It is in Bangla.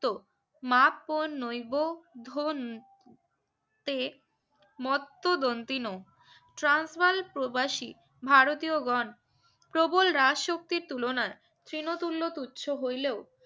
তো মা পো নৌবো ধন তে মতো দন্তিনো ট্রান্স বারের প্রবাসী ভারতীয় গন প্রবল রাজ শক্তির তুলনায় শ্রিনো তুল্লো তুছো হইলেও